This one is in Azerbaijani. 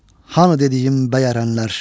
Hanı dediyim bəyərənlər?